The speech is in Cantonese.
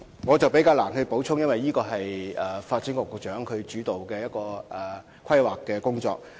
我難以作出補充，因為這是一項由發展局局長主導的規劃工作。